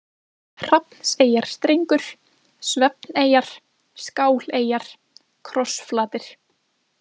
Hrafnseyjarstrengur, Svefneyjar, Skáleyjar, Krossflatir